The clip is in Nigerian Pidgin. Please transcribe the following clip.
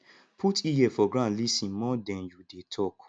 put ear for ground lis ten more then you dey talk